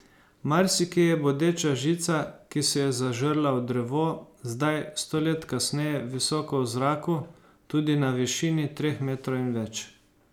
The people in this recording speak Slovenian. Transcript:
Marsikje je bodeča žica, ki se je zažrla v drevo, zdaj, sto let kasneje, visoko v zraku, tudi na višini treh metrov in več.